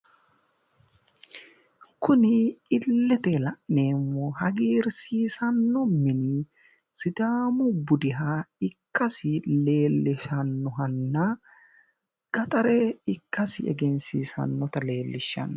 Kuni illete la'neemmohu hagiirsiisanno mini sidaamu budiha ikkasi leellishannohanna gaxare ikkasi egensiisannota leellishanno.